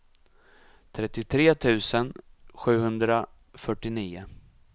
trettiotre tusen sjuhundrafyrtionio